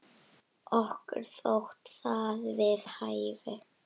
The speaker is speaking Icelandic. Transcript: Okkur þótti það við hæfi.